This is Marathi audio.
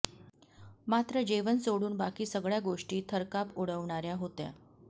मात्र जेवण सोडून बाकी सगळ्या गोष्टी थरकाप उडवणाऱ्या होत्या